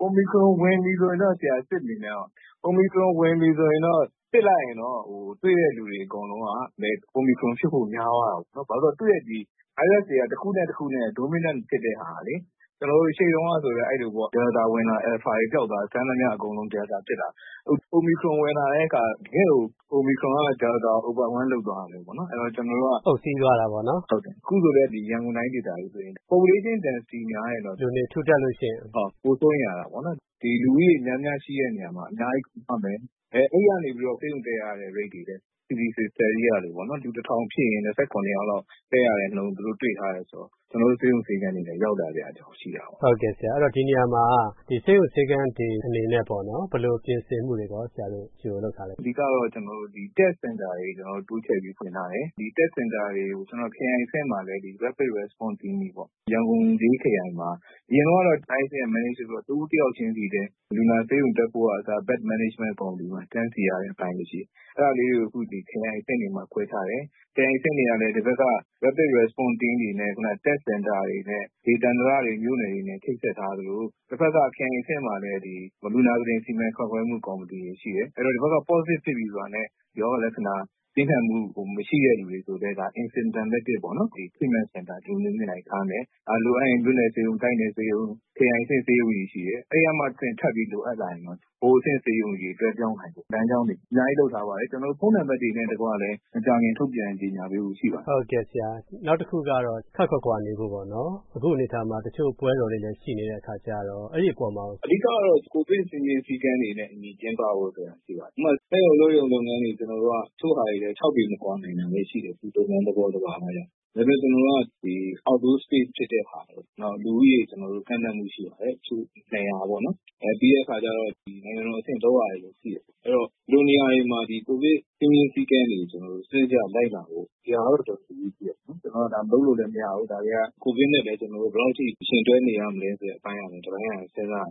အိုမီခရွန်ဝင်ပြီဆိုရင် စစ်မနေနဲ့တော့။ အိုမီခရွန် ဝင်ပြီဆိုရင် စစ်လိုက်ရင်တော့ တွေ့တဲ့လူတွေ အကုန်လုံးက အိုမီခရွန်ဖြစ်ဖို့ များသွားတာပေါ့။ ဘာဖြစ်လို့လဲဆိုတော့ သူ့ရဲ့ ဗိုင်းရပ်စ်တွေက တခုနဲ့တခုနဲ့ Dominant ဖြစ်တဲ့ဟာက၊ ကျနော်တို့ ရှေ့တုန်းကဆိုလည်း ဒယ်လ်တာ ဝင်လာတယ်၊ အယ်လ်ဖာတွေ ပျောက်သွားတယ်။ စမ်းသမျှအကုန် ဒယ်လ်တာ ဖြစ်တာပဲ။ အခု အိုမီခရွန် ဝင်လာတဲ့အခါ တကယ့်ကို အိုမီခရွန်က ဒယ်လ်တာကို Overwhelm လုပ်သွားတာမျိုးပေါ့။ အခုလည်း ရန်ကုန်တိုင်းဒေသကြီးဆိုရင် Population Density များရင်တော့ ပိုစိုးရိမ်ရတာပေါ့။ လူဦးရေ များများရှိတဲ့နေရာမှာ အများကြီး ကူးသွားမယ်၊ အဲဒီကနေ ဆေးရုံတက်ရတဲ့ Rate တွေလည်း —- လူတထောင်ဖြစ်ရင် ၂၇ ယောက်လောက် တက်ရတဲ့နှုန်း သူတို့တွေ့ထားတယ်ဆိုတော့ ကျနော်တို့ ဆေးရုံ ဆေးခန်းတွေလည်း ရောက်လာစရာအကြောင်း ရှိတာပေါ့။ ဒီနေရာမှာ ဆေးရုံဆေးခန်းတွေ အနေနဲ့ ဘယ်လိုပြင်ဆင်မှုတွေ ကြိုလုပ်ထားလဲ။ အဓိကတော့ Test Center တွေ တိုးချဲ့ပြီး ဖွင့်ထားတယ်။ Test Center တွေကို ခရိုင်အဆင့်မှာလည်း Rapid Response Team တွေပေါ့၊ ရန်ကုန် ၄ ခရိုင်မှာ၊ အရင်တုန်းကတော့ —--- တဦးတယောက်ချင်းစီပဲ လူနာ ဆေးရုံတက်ဖို့ကအစ၊ Bed Management Counter တွေမှာ တန်းစီရတဲ့ အပိုင်းတွေရှိတယ်။ အဲဒါလေးတွေကို အခု ခရိုင်အဆင့်တွေမှာ ခွဲထားတယ်။ ခရိုင်အဆင့်တွေကလည်း ဒီဘက်က Rapid Response Team တွေနဲ့ Test Center တွေနဲ့ ဒေသန္တရတွေ မြို့နယ်တွေနဲ့ ချိတ်ဆက်ထားသလို တဖက်က ခရိုင်အဆင့်မှာလည်း လူနာကုတင် စီမံခန့်ခွဲမှု ကော်မတီတွေ ရှိတယ်။ အဲဒီတော့ ဒီဘက်က Positive ဖြစ်ပြီဆိုတာနဲ့ ရောဂါလက္ခဏာ ပြင်းထန်မှု မရှိတဲ့လူတွေဆိုလည်း ဒါ Asymptomatic ပေါ့၊ Treatment Center ဒီလိုမျိုးနေရာတွေ ထားမယ်။ လိုအပ်ရင် မြို့နယ်ဆေးရုံ၊ တိုက်နယ်ဆေးရုံ၊ ခရိုင်အဆင့် ဆေးရုံတွေ ရှိတယ်။ အဲဒီကမှတဆင့် ထပ်ပြီး လိုအပ်လာရင်တော့ ဗဟိုအဆင့် ဆေးရုံကြီးတွေ လွှဲပြောင်းနိုင်ဖို့ လမ်းကြောင်းတွေ အများကြီး လုပ်ထားပါတယ်။ ကျနော်တို့ ဖုန်းနံပါတ်တွေနဲ့တကွ မကြာခင် ထုတ်ပြန်ကြေညာပေးဖို့ ရှိပါတယ်။ နောက်တခုကတော့ ခပ်ခွာခွာနေဖို့ပေါ့၊ အခုအနေအထားမှာ တချို့ပွဲတော်တွေလည်း ရှိနေတဲ့ အခါကြတော့ အဲဒီအပေါ်မှာရော။ အဓိကကတော့ ကိုဗစ်စည်းမျဉ်း စည်းကမ်းတွေနဲ့အညီ ကျင်းပဖို့ဆိုတာ ရှိပါတယ်။ ဥပမာ စက်ရုံ အလုပ်ရုံ လုပ်ငန်းတွေ တချို့ဟာတွေလည်း ၆ ပေ မကွာနိုင်တာတွေလည်း ရှိတယ်၊ သူ့လုပ်ငန်းသဘောသဘာဝအရ။ ဒါပေမယ့် ကျနော်တို့က Outdoor Space ဖြစ်တဲ့ဟာပေါ့၊ နောက် လူဦးရေ ကန့်သတ်မှု ရှိပါတယ်၊ တချို့ ၂၀၀ ပေါ့၊ ပြီးတော့ နိုင်ငံတော်အဆင့် လုပ်ရတာတွေလည်း ရှိတယ်။ အဲ့တော့ ဒီလိုနေရာတွေမှာ ကိုဗစ် စည်းမျဉ်း စည်းကမ်းတွေကို စနစ်တကျ လိုက်နာဖို့၊ ဒီဟာကတော့ တော်တော်အရေးကြီးတယ်။ ကျနော်တို့က ဒါ မလုပ်လို့လည်း မရဘူး၊ ကိုဗစ်နဲ့လည်း ကျနော်တို့ ဘယ်လောက်အထိ ယှဉ်တွဲနေရမလဲ ဆိုတဲ့အပိုင်း တပိုင်းကလည်း စဉ်းစားရသေ